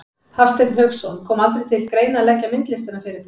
Hafsteinn Hauksson: Kom aldrei til greina að leggja myndlistina fyrir þig?